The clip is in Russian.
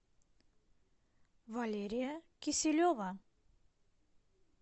валерия киселева